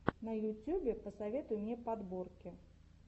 на ютьюбе посоветуй мне подборки